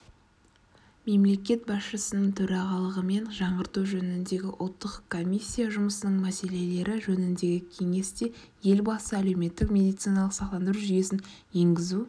мемлекет басшысының төрағалығымен жаңғырту жөніндегі ұлттық комиссия жұмысының мәселелері жөніндегі кеңестеелбасы әлеуметтік медициналық сақтандыру жүйесін енгізу